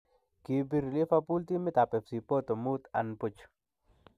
Kibrii Liverpool timiit ab Fc Porto muut an buch.